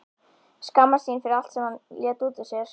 Skammast sín fyrir allt sem hann lét út úr sér.